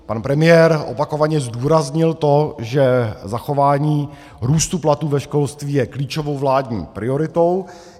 Pan premiér opakovaně zdůraznil to, že zachování růstu platů ve školství je klíčovou vládní prioritou.